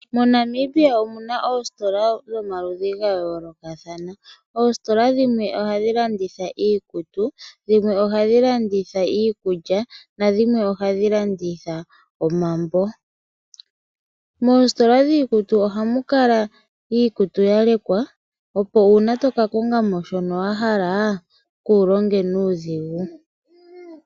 MoNamibia omuna oositola dhomaludhi ga yoolokathana oositola dhimwe ohadhi landitha iikutu ,iikulya oshowo omambo. Moositola dhiikutu ohamu kala ikkutu ya lekwa opo uuna toka kongamo shono wa hala kuulonge nuudhigu.